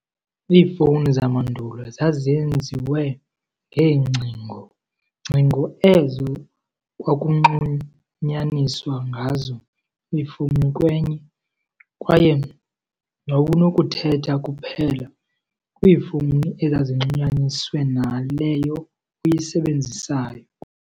Iifowuni zamandulo zazenziwe ngeengcingo, ngcingo ezo kwakunxunyaniswa ngazo ifowuni kwenye, kwaye wawunokuthetha kuphela kwiifowuni ezazinxunyaniswe naleyo uyisebenzisayo.